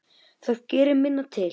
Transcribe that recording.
Það gerir minna til.